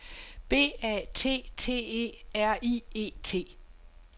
B A T T E R I E T